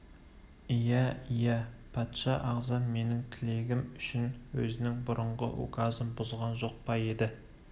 иә иә патша ағзам менің тілегім үшін өзінің бұрынғы указын бұзған жоқ па еді